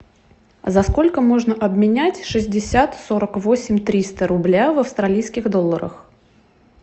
за сколько можно обменять шестьдесят сорок восемь триста рубля в австралийских долларах